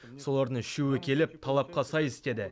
солардың үшеуі келіп талапқа сай істеді